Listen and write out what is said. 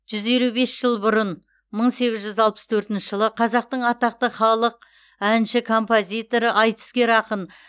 жүз елу бес жыл бұрын мың сегіз жүз алпыс төртінші жылы қазақтың атақты халық әнші композиторы айтыскер ақын